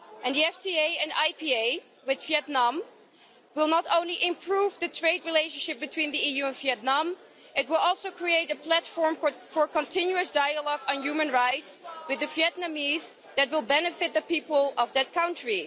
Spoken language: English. The FTA and IPA with Vietnam will not only improve the trade relationship between the EU and Vietnam, it will also create a platform for continuous dialogue on human rights with the Vietnamese that will benefit the people of that country.